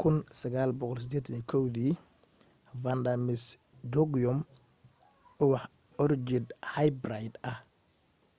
1981 vanda miss joaquim ubax orchid hybrid ah